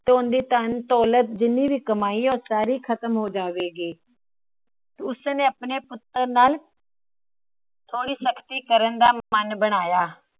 ਤੇ ਓਹੰਦੀ ਧੰਨ, ਦੌਲਤ ਜਿੰਨੀ ਵੀ ਓਹਨੇ ਕਮਾਈ ਏ ਸਾਰੀ ਖਤਮ ਹੋ ਜਾਏਗੀ। ਉਸ ਨੇ ਆਪਣੇ ਪੁੱਤਰ ਨਾਲ ਥੋੜੀ ਸਖਤੀ ਕਰਨ ਦਾ ਮਨ ਬਣਾਇਆ।